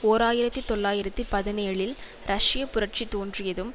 ஓர் ஆயிரத்தி தொள்ளாயிரத்தி பதினேழில் ரஷ்ய புரட்சி தோன்றியதும்